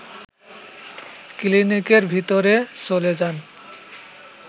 ক্লিনিকের ভিতরে চলে যান